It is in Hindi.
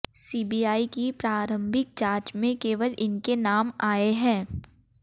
सीबीआई की प्रारंभिक जांच में केवल इनके नाम आए हैं